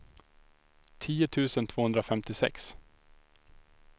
tio tusen tvåhundrafemtiosex